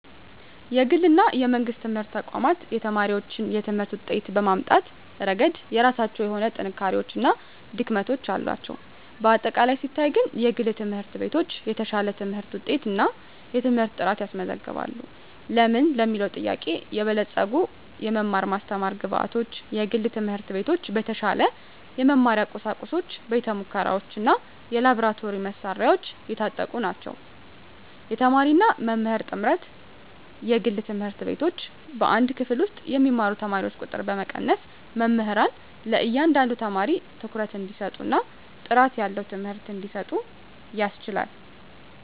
የግል እና የመንግሥት ትምህርት ተቋማት የተማሪዎችን የትምህርት ውጤት በማምጣት ረገድ የራሳቸው የሆኑ ጥንካሬዎች እና ድክመቶች አሏቸው። በአጠቃላይ ሲታይ ግን፣ የግል ትምህርት ቤቶች የተሻለ የትምህርት ውጤት እና የትምህርት ጥራት ያስመዘግባሉ። ለምን ለሚለዉ ጥያቄ -የበለፀጉ የመማር ማስተማር ግብአቶች፦ የግል ትምህርት ቤቶች በተሻለ የመማሪያ ቁሳቁሶች፣ ቤተ-ሙከራዎች፣ እና የላብራቶሪ መሣሪያዎች የታጠቁ ናቸው። -የተማሪና መምህር ጥምርታ፦ የግል ትምህርት ቤቶች በአንድ ክፍል ውስጥ የሚማሩ ተማሪዎችን ቁጥር በመቀነስ፣ መምህራን ለእያንዳንዱ ተማሪ ትኩረት እንዲሰጡ እና ጥራት ያለው ትምህርት እንዲሰጡ ያስችላል።